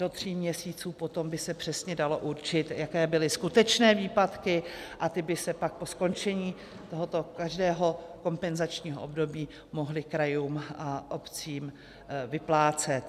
Do tří měsíců potom by se přesně dalo určit, jaké byly skutečné výpadky, a ty by se pak po skončení tohoto každého kompenzačního období mohly krajům a obcím vyplácet.